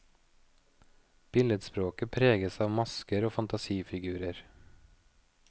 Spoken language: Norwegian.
Billedspråket preges av masker og fantasifigurer.